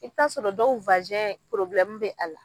I bi taa sɔrɔ dɔw be a la.